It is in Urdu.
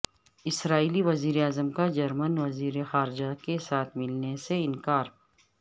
اسرائیلی وزیراعظم کا جرمن وزیر خارجہ کے ساتھ ملنے سے انکار